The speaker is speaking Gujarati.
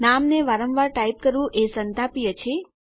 નામને વારંવાર ટાઈપ કરવું એ સંતાપીય છે